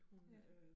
Ja